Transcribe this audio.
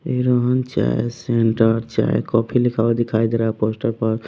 इ रोहन चाय सेंटर चाय कॉफ़ी लिखा हुआ दिखाई दे रहा है पोस्टर पर--